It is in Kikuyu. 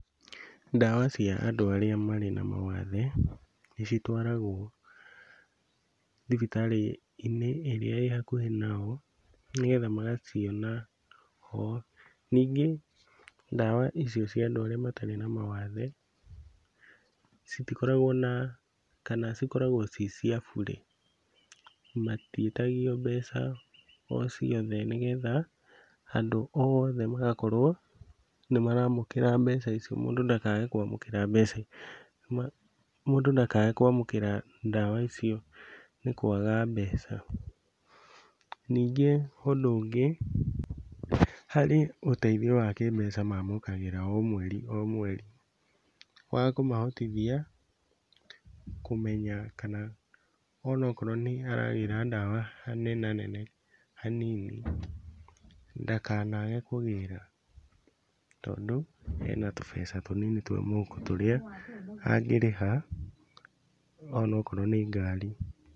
Ndawa cia andũ arĩa marĩ na mawathe, nĩcitwaragwo thibitarĩ-inĩ ĩrĩa ĩ hakuhĩ nao, nĩguo magaciona ho. Ningĩ ndawa icio cia andũ arĩa matarĩ na mawathe, citikoragwo na, kana cikoragwo ci cia bure, matiĩtagio mbeca o ciothe nĩgetha andũ oothe magakorwo nĩmaramũkĩra mbeca icio mũndũ ndakage kwamũkĩra mbeca icio, mũndũ ndakage kwamũkĩra ndawa icio nĩ kwaga mbeca. Ningĩ ũndũ ũngĩ, harĩ ũteithio wa kĩmbeca mamũkagĩra o mweri o mweri, wa kũmahotithia kũmenya kana ona okorwo nĩaragĩra ndawa hanenanene hanini, ndakanage kũgĩra tondũ ena tũbeca tũnini twa mũhuko tũrĩa angĩrĩha ona okorwo nĩ ngari.